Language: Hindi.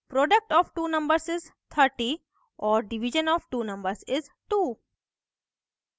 product of two numbers is 30 और division of two numbers is 2